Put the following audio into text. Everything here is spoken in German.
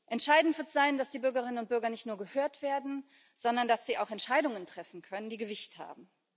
Entscheidend wird sein, dass die Bürgerinnen und Bürger nicht nur gehört werden, sondern dass sie auch Entscheidungen treffen können, die Gewicht haben.